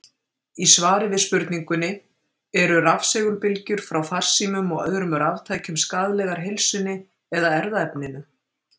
Í svari við spurningunni: Eru rafsegulbylgjur frá farsímum og öðrum raftækjum skaðlegar heilsunni eða erfðaefninu?